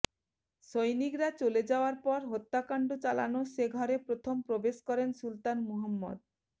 সৈনিকরা চলে যাওয়ার পর হত্যাকাণ্ড চালানো সে ঘরে প্রথম প্রবেশ করেন সুলতান মোহাম্মদ